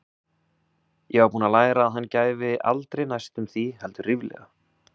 Ég var búin að læra að hann gæfi aldrei næstum því, heldur ríflega.